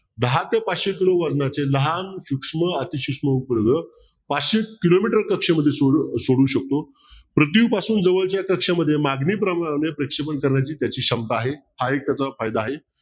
दहा ते पाचशे किलो वजनाचे लहान सूक्ष्म अतिसूक्ष्म उपग्रह पाचशे किलोमीटर कक्षेमध्ये सोडू शकतो पृथ्वीपासून जवळच्या कक्षेमध्ये मागणीप्रमाणे प्रक्षेपण करणे त्याची क्षमता आहे हा एक त्याचा फायदा आहे